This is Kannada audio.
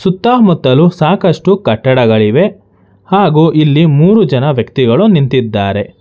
ಸುತ್ತಮುತ್ತಲು ಸಾಕಷ್ಟು ಕಟ್ಟಡಗಳಿವೆ ಹಾಗು ಇಲ್ಲಿ ಮೂರು ಜನ ವ್ಯಕ್ತಿಗಳು ನಿಂತಿದ್ದಾರೆ.